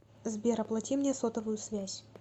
сбер оплати мне сотовую связь